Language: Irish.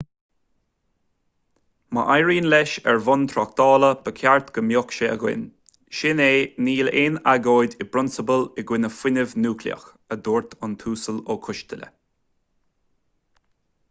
má éiríonn leis ar bhonn tráchtála ba cheart go mbeadh sé againn sin é níl aon agóid i bprionsabal i gcoinne fuinneamh núicléach a dúirt an tuasal ó coisteala